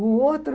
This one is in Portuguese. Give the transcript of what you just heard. O outro...